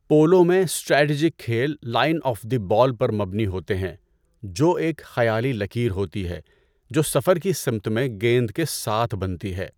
Polo میں strategic کھیل 'line of the ball' پر مبنی ہوتے ہیں، جو ایک خیالی لکیر ہوتی ہے جو سفر کی سمت میں گیند کے ساتھ بنتی ہے۔